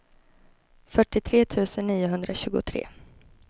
fyrtiotre tusen niohundratjugotre